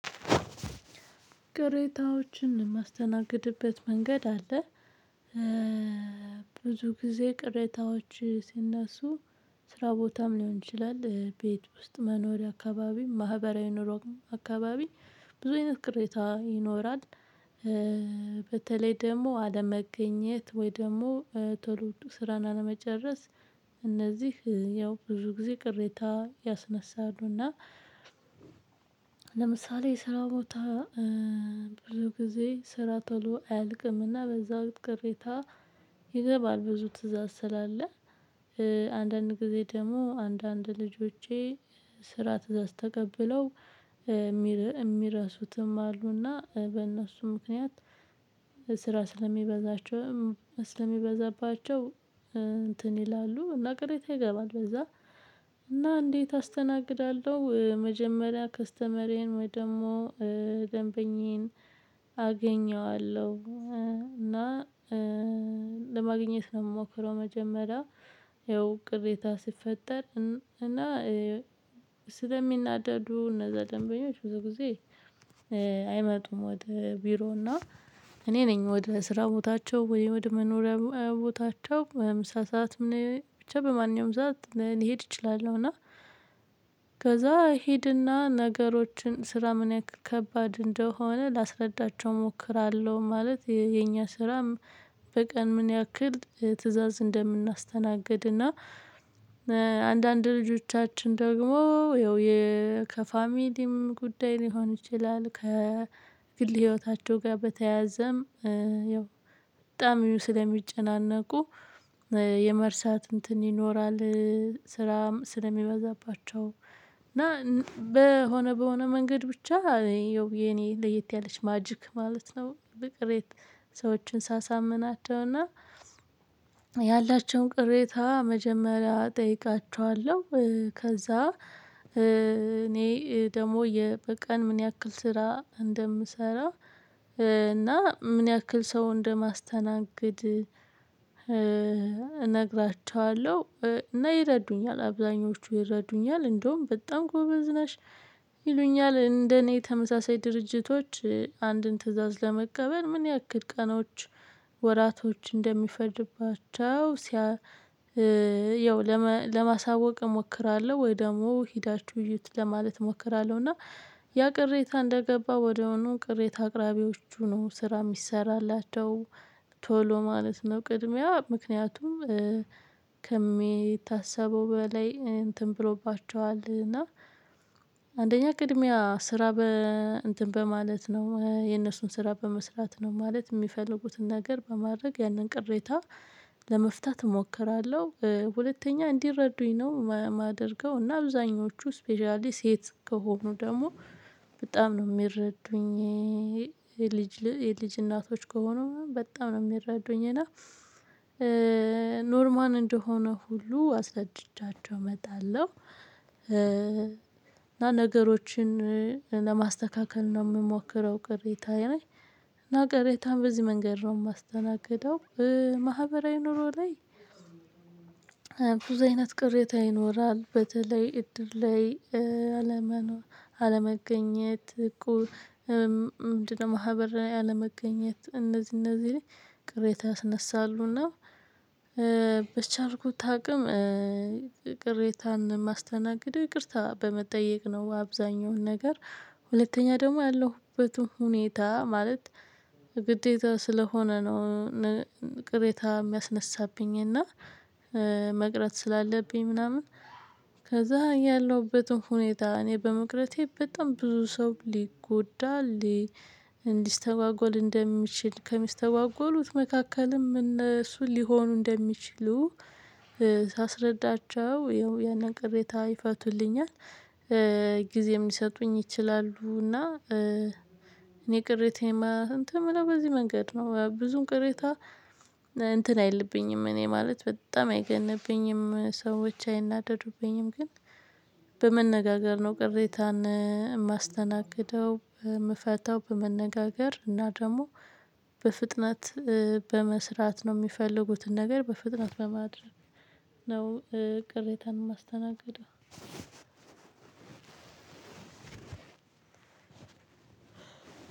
ቅሬታዎችን የማስተናግድበት መንገድ አለ። ብዙ ጊዜ ቅሬታዎች ሲነሱ ስራ ቦታም ሊሆን ይችላል ቤት ውስጥ መኖሪያ አካባቢ ማህበራዊ ኑሮን አካባቢ ብዙ አይነት ቅሬታ ይኖራል። በተለይ ደግሞ አለመገኘት ወይ ደግሞ ቶሎ ስራን አለመጨረስ። እነዚህ ያው ብዙ ጊዜ ቅሬታ ያስነሳሉና። ለምሳሌ ስራ ቦታ ብሎ ጊዜ ስራ ተሎ አያልቅምና በዛው ቅሬታ። ይገባል ብዙ ትእዛዝ ስላለ። አንዳንድ ጊዜ ደግሞ አንዳንድ ልጆቼ ስራ ትእዛዝ ተቀብለው የሚረሱትም አሉና በእነሱ ምክንያት ስራ ስለሚበዛቸው ስለሚበዛባቸው እንትን ይላሉ እና ቅሬታ ይገባል። በዛ እና እንዴት አስተናግዳለሁ? መጀመሪያ ካስተመርዬን ወይ ደግሞ ደንበኛዬን አገኘዋለሁ እና ለማግኘት ነው የምሞክረው። መጀመሪያ ያው ቅሬታ ሲፈጠር እና ስለሚናደዱ እነዛ ደንበኞች በዚህ ጊዜ። አይመጡም ወደ ቢሮና እኔ ነኝ ወደ ስራ ቦታቸው ወደ መኖሪያ ቦታቸው ምሳ ሰዓት ምን ብቻ በማንኛውም ሰዓት ልሄድ እችላለሁ። እና ከዛ እሄድና ነገሮችን ስራ ምን ያክል ከባድ ላስረዳቸው እሞክራለሁ። ማለት የኛ ስራም በቀን ምን ያክል ትእዛዝ እንደምናስተናግድ እና አንዳንድ ልጆቻችን ደግሞ ይኸው ከፋሚሊም ጉዳይ ሊሆን ይችላል። ከግል ህይወታቸው ጋር በተያያዘም በጣም ስለሚጨናነቁ የመርሳት እንትን ይኖራል። ስራ ስለሚበዛባቸው እና በሆነ በሆነ መንገድ ብቻ የኔ ለየት ያለች ማጂክ ማለት ነው። ቅሬት ሰዎችን ሳሳምናቸውና ያላቸውን ቅሬታ መጀመሪያ እጠይቃችኋለሁ። ከዛ እኔ ደግሞ በቀን ምን ያክል ስራ እንደምሰራ እና ምን ያክል ሰው እንደማስተናገድ እነግራችኋለሁ። እና ይረዱኛል አብዛኞቹ ይረዱኛል እንደውም በጣም ጎበዝ ነሽ ይሉኛል እንደኔ ተመሳሳይ ድርጅቶች አንድን ትእዛዝ ለመቀበል ምን ያክል ቀኖች ወራቶች እንደሚፈጅባቸው ሲያ ያው ለማሳወቅ እሞክራለሁ። ወይ ደግሞ ሄዳችሁ እዩት ለማለት እሞክራለሁ። እና ያ ቅሬታ እንደገባ ወዲያውኑ ቅሬታ አቅራቢዎቹ ነው ስራ የሚሰራላቸው ቶሎ ማለት ነው። ቅድሚያ ምክንያቱም ከሚታሰበው በላይ እንትን ብሎባቸዋል እና አንደኛ ቅድሚያ ስራ በ እንትን በማለት ነው የነሱን ስራ በመስራት ነው ማለት የሚፈልጉትን ነገር በማድረግ ያንን ቅሬታ ለመፍታት እሞክራለሁ። ሁለተኛ እንዲረዱኝ ነው የማደርገው። እና አብዛኞቹ ስፔሻሊ ሴት ከሆኑ ደግሞ በጣም ነው የሚረዱኝ። የልጅ የልጅ እናቶች ከሆኑ በጣም ነው የሚረዱኝ እና ኖርማል እንደሆነ ሁሉ አስረድቻቸው እመጣለሁ። እና ነገሮችን ለማስተካከል ነው የምሞክረው። ቅሬታ ላይ እና ቅሬታም በዚህ መንገድ ነው የማስተናግደው። ማህበራዊ ኑሮ ላይ ብዙ አይነት ቅሬታ ይኖራል። በተለይ እድር ላይ። አለመገኘት እቁብ ምንድነው? ማህበር አለመገኘት እነዚህ እነዚህ ላይ ቅሬታ ያስነሳሉና። በቻልኩት አቅም ቅሬታን ማስተናገድ ይቅርታ በመጠየቅ ነው አብዛኛውን ነገር ሁለተኛ ደግሞ ያለሁበትም ሁኔታ ማለት ግዴታ ስለሆነ ነው። ቅሬታ የሚያስነሳብኝ እና መቅረት ስላለብኝ ምናምን ከዛ ያለሁበትን ሁኔታ እኔ በመቅረቴ በጣም ብዙ ሰው ሊጎዳ ሊስተጓጎል እንደሚችል ከሚስተጓጎሉት መካከልም እነሱ ሊሆኑ እንደሚችሉ ሳስረዳቸው ያን ያንተ ቅሬታ ይፈቱልኛል። ጊዜም ሊሰጡኝ ይችላሉ። እና ቅሬታ እንትን ምለው በዚህ መንገድ ነው ብዙም ቅሬታ እንትን አይልብኝም እኔ ማለት በጣም አይገንብኝም። ሰዎች አይናደዱብኝም ግን በመነጋገር ነው የማስተናግደው። የምፈታው በመነጋገር እና ደግሞ በፍጥነት በመስራት ነው የሚፈልጉትን ነገር በፍጥነት በማድረግ ነው። ቅሬታን ማስተናገደው።